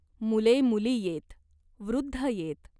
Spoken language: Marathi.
मुले मुली येत. वृद्ध येत.